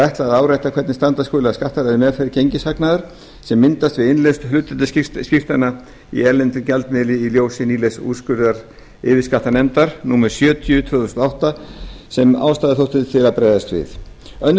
ætlað að árétta hvernig standa skuli að skattalegri meðferð gengishagnaðar sem myndast við innlausn hlutdeildarskírteina í erlendum gjaldmiðli í ljósi nýlegs úrskurðar yfirskattanefndar númer sjötíu tvö þúsund og átta sem ástæða þótti til að bregðast við önnur